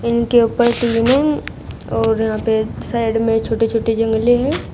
इनके ऊपर टीने और यहां पे साइड में छोटे-छोटे जंगले हैं।